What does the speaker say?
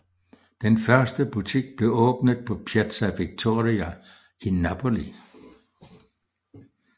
Den første butik blev åbnet på Piazza Vittoria i Napoli